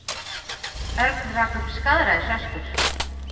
Örn rak upp skaðræðisöskur.